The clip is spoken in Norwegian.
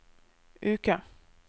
uke